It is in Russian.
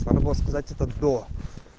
надо было сказать это до